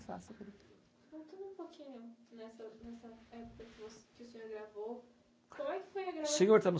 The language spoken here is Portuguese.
que o senhor gravou. Como é que foi a grava. Senhor está no